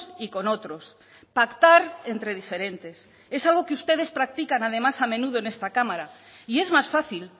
y con otros pactar entre diferentes es algo que ustedes practican además a menudo en esta cámara y es más fácil